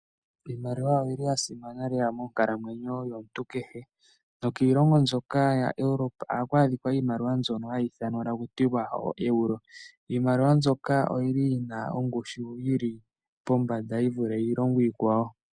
Iimaliwa oyili ya simana lela monkalamwenyo yomuntu kehe nokiilongo mbyoka ya Europe ohaku adhika iimaliwa mbyono hayi ithanwa taku tiwa ooEuro. Iimaliwa mbyoka oyili yina ongushu yili pombanda, yi vule iilongo iikwawo.